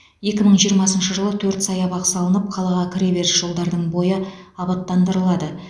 екі мың жиырмасыншы жылы төрт саябақ салынып қалаға кіре беріс жолдардың бойы абаттандырылады